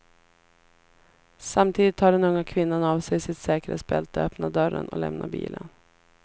Samtidigt tar den unga kvinnan av sig sitt säkerhetsbälte, öppnar dörren och lämnar bilen.